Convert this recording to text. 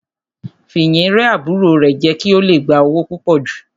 Fìyìn rẹ́ àbúrò rẹ̀ jẹ kí ó le gba owó púpò jù.